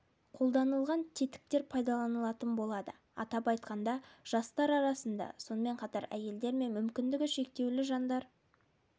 қолданылған тетіктер пайдаланылатын болады атап айтқанда жастар арасында сонымен қатар әйелдер мен мүмкіндігі шектеулі жандар